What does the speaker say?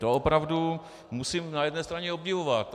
To opravdu musím na jedné straně obdivovat.